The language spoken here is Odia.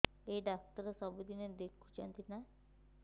ଏଇ ଡ଼ାକ୍ତର ସବୁଦିନେ ଦେଖୁଛନ୍ତି ନା